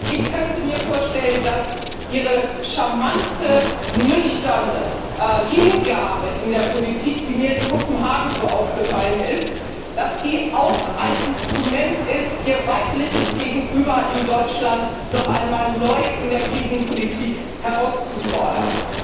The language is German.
Ich könnte mir vorstellen, dass Ihre charmante, nüchterne Hingabe in der Politik, die mir in Kopenhagen so aufgefallen ist, auch ein Instrument ist, Ihr weibliches Gegenüber aus Deutschland noch einmal neu in der Krisenpolitik herauszufordern.